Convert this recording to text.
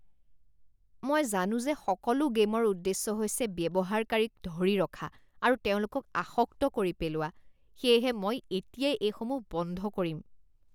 মই জানো যে সকলো গে'মৰ উদ্দেশ্য হৈছে ব্যৱহাৰকাৰীক ধৰি ৰখা আৰু তেওঁলোকক আসক্ত কৰি পেলোৱা সেয়েহে মই এতিয়াই এইসমূহ বন্ধ কৰিম